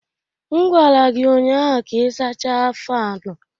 M gwara gị ụnyaahụ ka ị sachaa faanu!